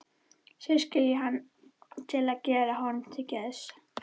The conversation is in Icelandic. Segist skilja hann til að gera honum til geðs.